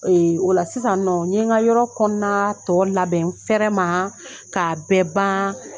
Ee o la sisannɔ n ye nka yɔrɔ kɔnɔna tɔw labɛn n fɛrɛ ma'a bɛɛ ban.